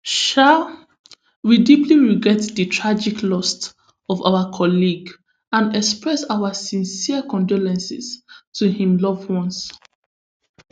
um we deeply regret di tragic loss of our colleague and express our sincere condolences to im loved ones